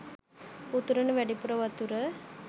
උතුරන වැඩිපුර වතුර